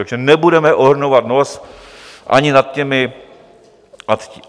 Takže nebudeme ohrnovat nos ani nad těmi...